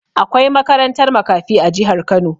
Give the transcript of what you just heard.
Akwai makarantar makafi a jihar Kano.